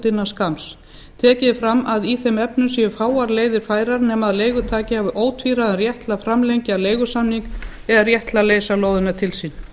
innan skamms tekið er fram að í þeim efnum séu fáar leiðir færar nema leigutaki hafi ótvíræðan rétt til að framlengja leigusamning eða rétt til að leysa lóðina til sín